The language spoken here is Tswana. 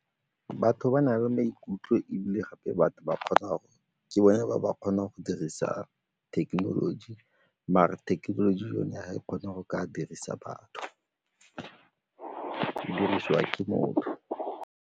Batho ba na le maikutlo ebile gape batho ke bone ba ba kgonang go dirisa thekenoloji mare thekenoloji yone ga e kgona go ka dirisa batho, e dirisiwa ke motho.